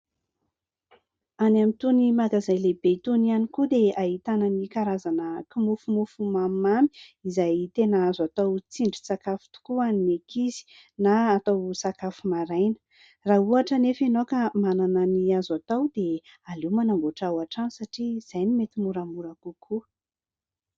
Any amin'ny itony magazay lehibe itony ihany koa dia ahitana ny karazana kimofomofo mamimamy izay tena azo atao tsindrin-tsakafo tokoa ho an'ny ankizy na atao sakafo maraina. Raha ohatra anefa ianao ka manana ny azo atao dia aleo manamboatra ao an-trano satria izay no mety moramora kokoa.